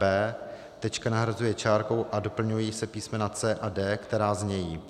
b) tečka nahrazuje čárkou a doplňují se písm. c) a d), která znějí: